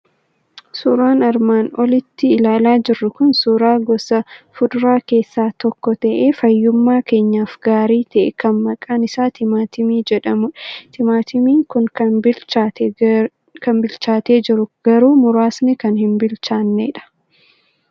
Suuraan armaan olitti ilaalaa jirru kun suuraa gosa fuduraa keessaa tokko ta'ee, fayyummaa keenyaaf gaarii ta'e, kan maqaan isaa timaatimii jedhamudha. Timaatimiin kun kan bilchaatee jiru garuu muraasni kan hin bilchaannedha.